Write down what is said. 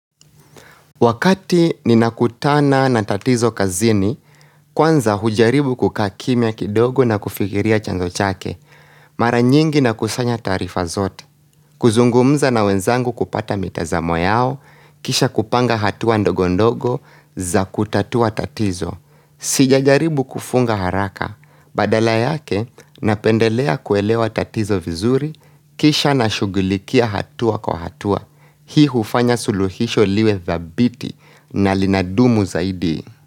Wakati ninakutana na tatizo kazini, kwanza hujaribu kukaa kimya kidogo na kufikiria chanzo chake. Mara nyingi nakusanya taarifa zote. Kuzungumza na wenzangu kupata mitazamo yao, kisha kupanga hatua ndogo ndogo za kutatua tatizo. Sijajaribu kufunga haraka. Badala yake, napendelea kuelewa tatizo vizuri, kisha na shughulikia hatua kwa hatua. Hii hufanya suluhisho liwe dhabiti na linadumu zaidi.